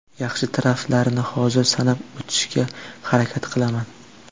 Yaxshi taraflarini hozir sanab o‘tishga harakat qilaman.